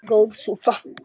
Góð súpa